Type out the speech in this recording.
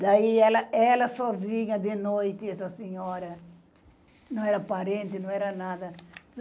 Daí ela, ela sozinha de noite, essa senhora, não era parente, não era nada.